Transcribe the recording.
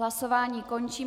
Hlasování končím.